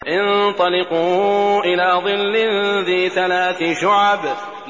انطَلِقُوا إِلَىٰ ظِلٍّ ذِي ثَلَاثِ شُعَبٍ